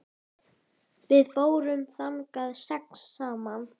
Við fórum þangað sex saman.